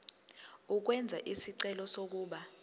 ukwenza isicelo sokuba